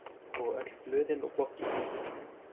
Og öll blöðin og bloggið.